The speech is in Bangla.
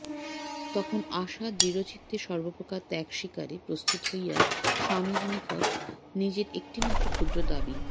তখন আশা দৃঢ়চিত্তে সর্বপ্রকার ত্যাগস্বীকারে প্রস্তুত হইয়া স্বামীর নিকট নিজের একটিমাত্র ক্ষুদ্র দাবি